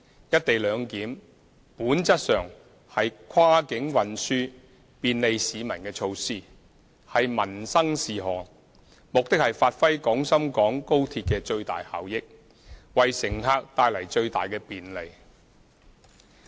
"一地兩檢"本質上是跨境運輸便利市民的措施，是民生事項，目的是發揮廣深港高鐵的最大效益，為乘客帶來最大的便利。